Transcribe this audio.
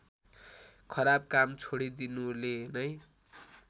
खराब काम छोडिदिनुले नै